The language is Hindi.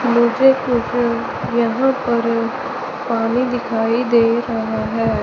मुझे कुछ यहां पर पानी दिखाई दे रहा है।